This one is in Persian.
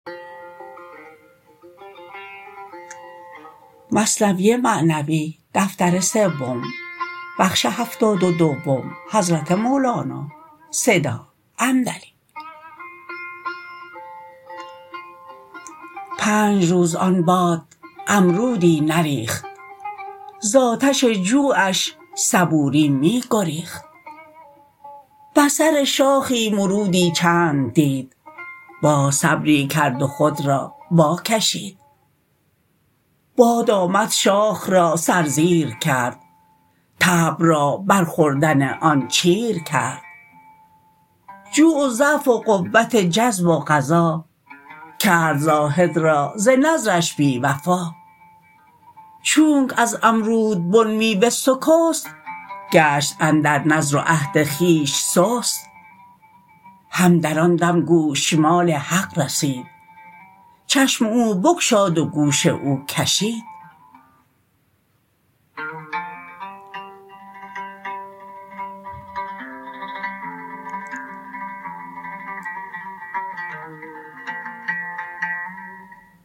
پنج روز آن باد امرودی نریخت ز آتش جوعش صبوری می گریخت بر سر شاخی مرودی چند دید باز صبری کرد و خود را وا کشید باد آمد شاخ را سر زیر کرد طبع را بر خوردن آن چیر کرد جوع و ضعف و قوت جذب و قضا کرد زاهد را ز نذرش بی وفا چونک از امرودبن میوه سکست گشت اندر نذر و عهد خویش سست هم در آن دم گوشمال حق رسید چشم او بگشاد و گوش او کشید